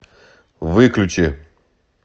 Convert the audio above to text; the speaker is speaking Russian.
выключи